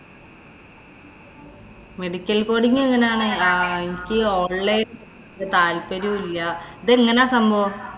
medical coding എങ്ങനാ? എനിക്ക് online താല്‍പര്യവും ഇല്ല. ഇതെങ്ങനാ സംഭവം?